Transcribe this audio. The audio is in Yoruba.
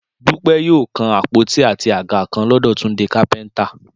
Dúpẹ́ yóò kan àpótí àti àga kan lọ́dọ̀ Túndé kápẹ́ntà